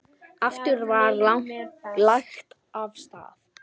Aftur var lagt af stað.